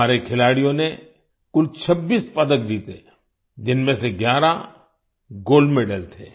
हमारे खिलाड़ियों ने कुल 26 पदक जीते जिनमें से 11 गोल्ड मेडल गोल्ड मेडल थे